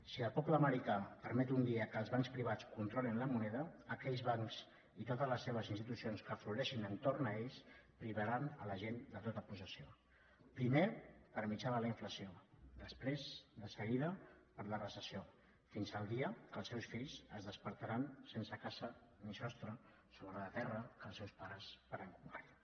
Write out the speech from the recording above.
si el poble americà permet un dia que els bancs privats controlin la moneda aquells bancs i totes les seves institucions que hi floreixin a l’entorn privaran la gent de tota possessió primer per mitjà de la inflació després de seguida per la recessió fins al dia que els seus fills es despertaran sense casa ni sostre sobre la terra que els seus pares varen conquerir